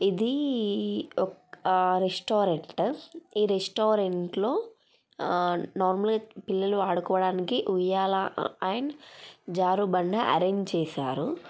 ఇది ఒక రెస్టారెంట్ ఈ రెస్టారెంట్ ట్లో నార్మల్గా పిల్లలు ఆడుకోవడానికి ఉయ్యాల అండ్ జారుబండ అరేంజ్ చేశారు.